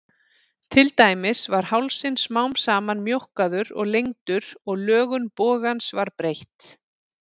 Til dæmis var hálsinn smám saman mjókkaður og lengdur og lögun bogans var breytt.